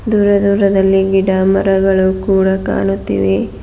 ದೂರ ದೂರದಲ್ಲಿ ಗಿಡ ಮರಗಳು ಕೂಡ ಕಾಣುತ್ತಿವೆ.